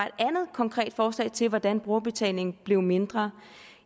et andet konkret forslag til hvordan brugerbetalingen blev mindre